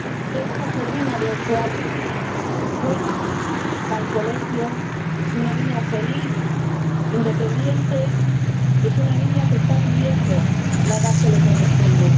Tengo una sobrina de ocho años juega, va al colegio, es una niña feliz, independiente y es una niña que está viviendo la edad que le corresponde.